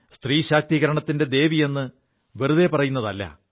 സ്ത്രീശാക്തീകരണത്തിന്റെ ദേവിയെു വെറുതെ പറയുതല്ല